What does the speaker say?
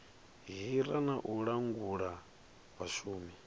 hira na u langula vhashumi